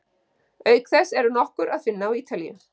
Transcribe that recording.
Auk þess er nokkur að finna á Ítalíu.